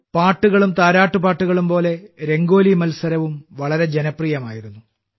പാട്ടുകളും താരാട്ട് പാട്ടുകളും പോലെ രംഗോലി മത്സരവും വളരെ ജനപ്രിയമായിരുന്നു